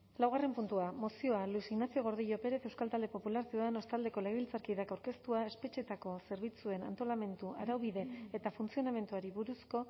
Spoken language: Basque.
laugarren puntua mozioa luis ignacio gordillo pérez euskal talde popularra ciudadanos taldeko legebiltzarkideak aurkeztua espetxeetako zerbitzuen antolamendu araubide eta funtzionamenduari buruzko